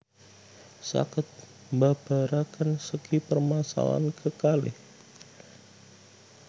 Saged mbabaraken segi permasalahan kekalih